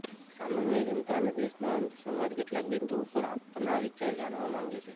સામાન્ય જનતા અને દેશનો સંત સમાજ કેટલાંક બિંદુઓ પર આપના વિચાર જાણવા માંગે છે